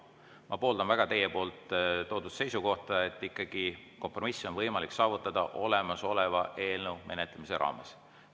Ma pooldan väga teie seisukohta, et kompromissi on ikkagi võimalik saavutada olemasoleva eelnõu menetlemise raames.